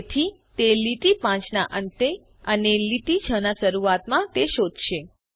તેથી તે લીટી 5 ના અંતે અને લીટી 6 ના શરુઆતમાં તે શોધશે